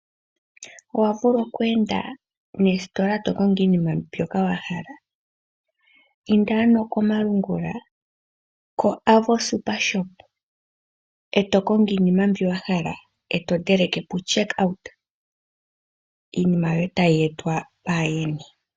Owavulwa oku enda noositola tokongo iinima mbyoka wahala? Inda ano komalungula, e tokongo iinima mbyoka wahala, eto thindi puCheck out, iinima yoye tayi etwa paayeni.